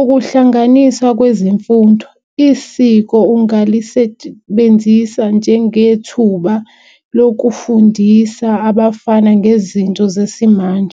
Ukuhlanganiswa kwezemfundo isiko ungalisebenzisa njengethuba lokufundisa abafana ngezinto zesimanje.